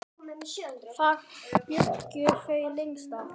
Þar bjuggu þau lengst af.